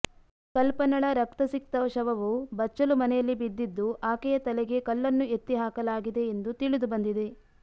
ಕಲ್ಪನಳ ರಕ್ತ ಸಿಕ್ತ ಶವವು ಬಚ್ಚಲು ಮನೆಯಲ್ಲಿ ಬಿದ್ದಿದ್ದು ಆಕೆಯ ತಲೆಗೆ ಕಲ್ಲನ್ನು ಎತ್ತಿ ಹಾಕಲಾಗಿದೆ ಎಂದು ತಿಳಿದು ಬಂದಿದೆ